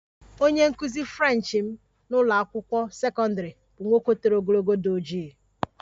Onye nkụzi French m nọ n'ụlọ akwụkwọ sekọndrị bụ nwoke toro ogologo, di ojii